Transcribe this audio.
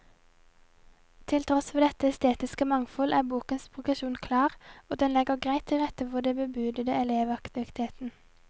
Til tross for dette estetiske mangfold er bokens progresjon klar, og den legger greit til rette for den bebudede elevaktiviteten.